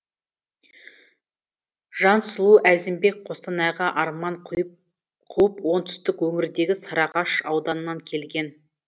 жансұлу әзімбек қостанайға арман қуып оңтүстік өңірдегі сарыағаш ауданынан келген